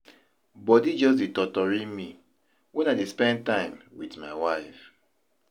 Body just dey totori me wen I dey spend time with my wife.